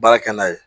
Baara kɛ n'a ye